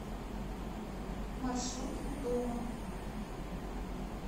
маршрут у дома